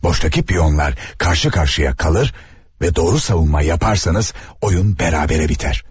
Boşdakı piyonlar qarşı-qarşıya qalır və doğru savunma yaparsanız oyun bərabərə bitər.